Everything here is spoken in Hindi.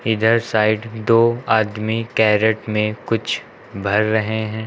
इधर साइड दो आदमी कैरेट में कुछ भर रहे हैं।